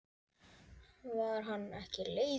Var hann ekki leiður?